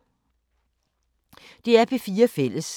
DR P4 Fælles